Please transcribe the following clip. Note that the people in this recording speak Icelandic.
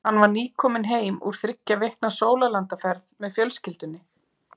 Hann var nýkominn heim úr þriggja vikna sólarlandaferð með fjölskyldunni.